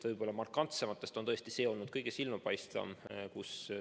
Võib öelda, et markantsematest on tõesti see olnud kõige silmapaistvam.